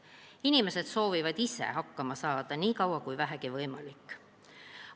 Inimesed soovivad ise hakkama saada, nii kaua kui vähegi võimalik.